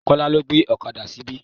Kola lọ́ gbé ọ̀kadà síbí.